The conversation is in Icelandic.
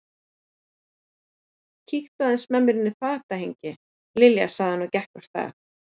Kíktu aðeins með mér inn í fatahengi, Lilja sagði hann og gekk af stað.